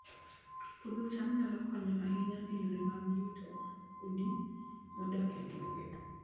Puodho cham nyalo konyo ahinya e yore mag yuto mag udi modak e gwenge